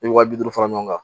I bɛ wa bi duuru fara ɲɔgɔn kan